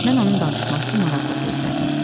Mən onun danışmasını maraqla gözlədim.